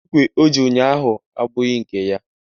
Ikwe o ji ụnyaahụ abụghị nke ya